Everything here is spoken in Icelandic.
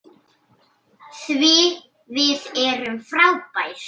Því við erum frábær.